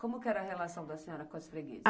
Como que era a relação da senhora com as freguesas?